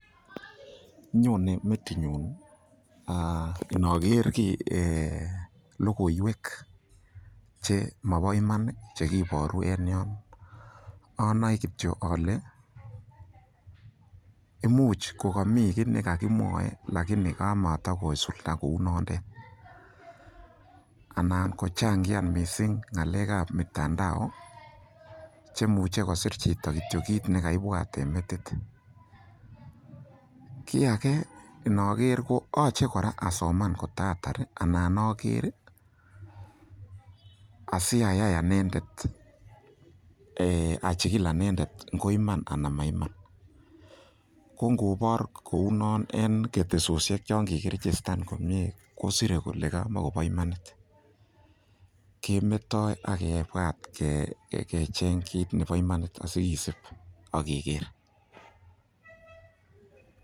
Nyone metinyun inoker kiy, logoiwek chemoboiman che kiboru en yon, onoe kityo ole imuch kogomi kiy ne kogimwoe lakini kamatakosulda kounotet, ananko changian mising ngalek ab mitandao che imuche kosir chito kityo kiiit ne kaibwat en metiit. Kiy age inoker koyoche kora asoman kotaatar anan oger asiayai anendet, achigil anendet ngo iman anan maiman ko ingobor kounon en ketesosiek chon kigirijistan komie kosire kole kamakobo imanit kemetoi ak kebwat kecheng kit nebo imanit asiisib ak iger.